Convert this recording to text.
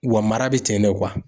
Wa mara bɛ ten de